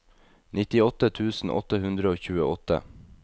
nittiåtte tusen åtte hundre og tjueåtte